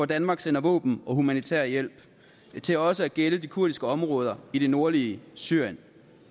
danmark sender våben og humanitær hjælp til også at gælde de kurdiske områder i det nordlige syrien